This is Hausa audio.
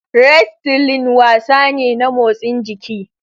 Wrestling wasa ne na motsin jiki.